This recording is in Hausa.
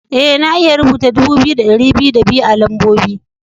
Ee, na iya rubuta dubu biyu da dari biyu da biyu a'lambobi.